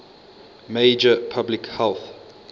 major public health